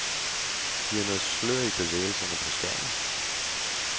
Det giver noget slør i bevægelserne på skærmen.